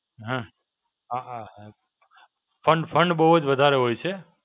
હાં આ આ આ fund fund બહું જ વધારે હોય છે.